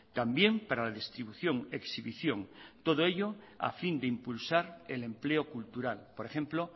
también para la distribución exhibición todo ello a fin de impulsar el empleo cultural por ejemplo